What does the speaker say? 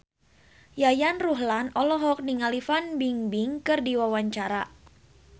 Yayan Ruhlan olohok ningali Fan Bingbing keur diwawancara